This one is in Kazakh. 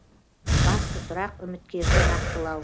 басты сұрақ үміткерді нақтылау